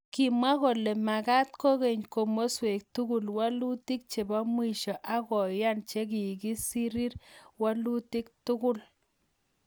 kamwa kole magaat kogeny komasweek tugul walutik chepo mwisho akoyan chekagisiriir walutik tugul.